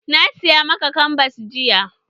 Na saya maka kanbas jiya.